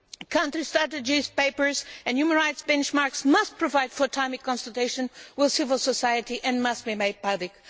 Country strategies, papers and human rights benchmarks must provide for timely consultation with civil society and must be made public.